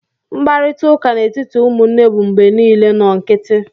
Mkparịta ụka n'etiti ụmụnne bụ mgbe niile nnọọ nkịtị